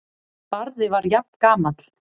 Barði var jafngamall